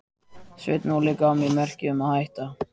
Sveinn Óli gaf mér merki um að hætta.